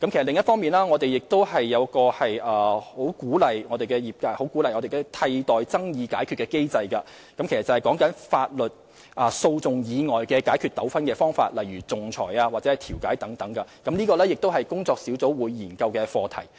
另一方面，我們十分鼓勵業界採用替代爭議解決機制，意思是在法律訴訟以外解決糾紛的方法，例如仲裁或調解等，而這也是工作小組會研究的課題。